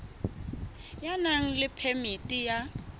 ya nang le phemiti ya